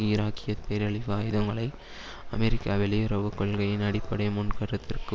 ஈராக்கிய பேரழிவு ஆயுதங்களை அமெரிக்க வெளியுறவு கொள்கையின் அடிப்படை முன்கருத்திற்கு